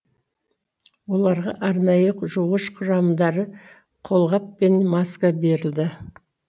оларға арнайы жуғыш құрамдары қолғап пен маска берілді